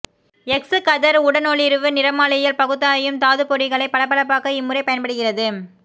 X கதிர் உடனொளிர்வு நிறமாலையியல் பகுத்தாயும் தாதுப் பொடிகளை பளபளப்பாக்க இம்முறை பயன்படுகிறது